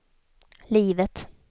livet